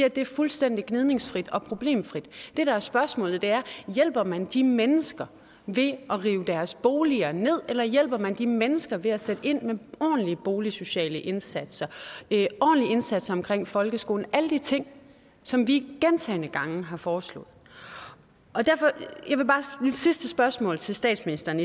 at det er fuldstændig gnidningsfrit og problemfrit det der er spørgsmålet er hjælper man de mennesker ved at rive deres boliger ned eller hjælper man de mennesker ved at sætte ind med ordentlige boligsociale indsatser ordentlige indsatser omkring folkeskolen alle de ting som vi gentagne gange har foreslået og derfor er mit sidste spørgsmål til statsministeren